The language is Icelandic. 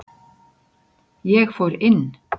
Ég fór inn.